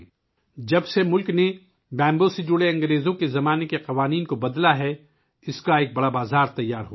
جب سے ملک نے بانس سے متعلق برطانوی دور کے قوانین میں تبدیلی کی ہے، تب سے اس کے لیے ایک بہت بڑا بازار تیار ہوا ہے